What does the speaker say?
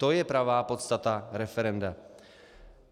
To je pravá podstata referenda.